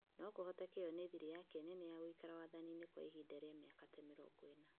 No kũhoteke ĩyo nĩ thirĩ yake nene ya gũikara wathani-inĩ kwa ihinda rĩa mĩaka ta mĩrongo ĩna.